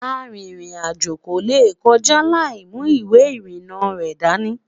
àrin rìn àjò kò lè kọjá laimu ìwé irina rẹ̀ dání